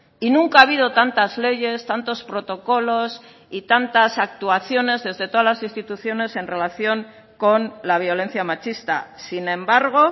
y nunca ha habido tantas leyes tantos protocolos y tantas actuaciones desde todas las instituciones en relación con la violencia machista sin embargo